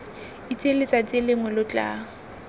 itseng letsatsi lengwe lo tla